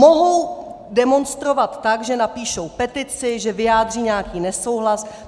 Mohou demonstrovat tak, že napíšou petici, že vyjádří nějaký nesouhlas.